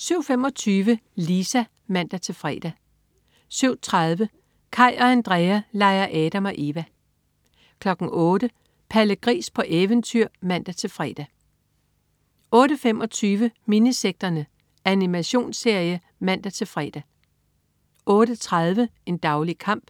07.25 Lisa (man-fre) 07.30 Kaj og Andrea leger Adam og Eva 08.00 Palle Gris på eventyr (man-fre) 08.25 Minisekterne. Animationsserie (man-fre) 08.30 En daglig kamp.